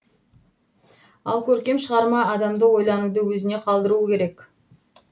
ал көркем шығарма адамды ойлануды өзіне қалдыруы керек